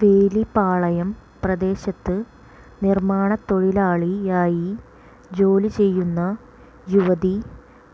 വേലിപാളയം പ്രദേശത്ത് നിർമാണത്തൊഴിലാളിയായി ജോലി ചെയ്യുന്ന യുവതി